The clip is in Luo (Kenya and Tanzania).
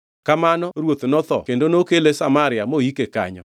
Kamano ruoth notho kendo nokele Samaria moike kanyo.